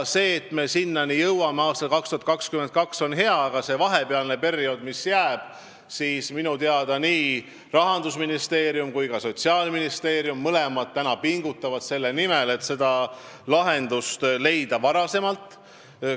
Ja minu teada nii Rahandusministeerium kui ka Sotsiaalministeerium mõlemad pingutavad selle nimel, et see lahendus leida enne aastat 2022.